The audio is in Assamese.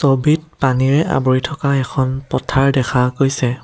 অবিত পানীৰে আৱৰি থকা এখন পথাৰ দেখা গৈছে।